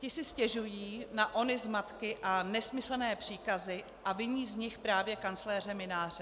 Ti si stěžují na ony zmatky a nesmyslné příkazy a viní z nich právě kancléře Mynáře.